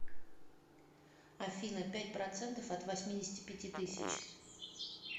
афина пять процентов от восьмидесяти пяти тысяч